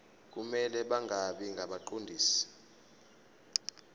kumele bangabi ngabaqondisi